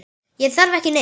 Ég þarf ekki neitt.